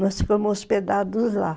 Nós ficamos hospedados lá.